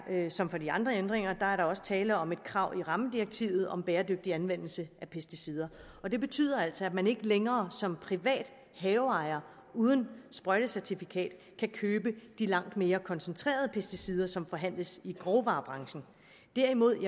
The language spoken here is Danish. som for de andre ændringer også tale om et krav i rammedirektivet om bæredygtig anvendelse af pesticider og det betyder altså at man ikke længere som privat haveejer uden sprøjtecertifikat kan købe de langt mere koncentrerede pesticider som forhandles i grovvarebranchen derimod